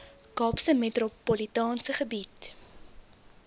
kaapse metropolitaanse gebied